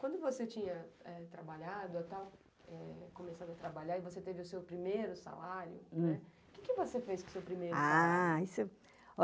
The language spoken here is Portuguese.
Quando você tinha trabalhado, começava a trabalhar e você teve o seu primeiro salário, o que você fez com o seu primeiro salário?